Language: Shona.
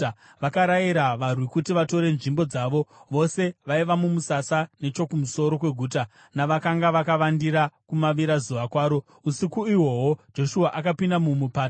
Vakarayira varwi kuti vatore nzvimbo dzavo, vose vaiva mumusasa nechokumusoro kweguta navakanga vakavandira kumavirazuva kwaro. Usiku ihwohwo Joshua akapinda mumupata.